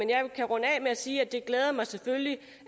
med at sige